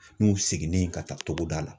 N'u seginnen ka taa togoda la.